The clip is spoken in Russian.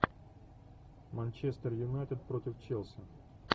манчестер юнайтед против челси